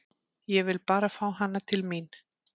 Ég vil bara fá hana til mín.